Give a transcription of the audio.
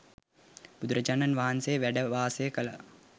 බුදුරජාණන් වහන්සේ වැඩ වාසය කළ